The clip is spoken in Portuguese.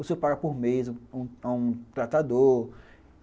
O senhor paga por mês a a um tratador.